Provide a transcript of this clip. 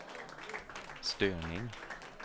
störning